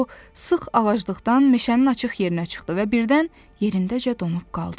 O sıx ağaclıqdan meşənin açıq yerinə çıxdı və birdən yerindəcə donub qaldı.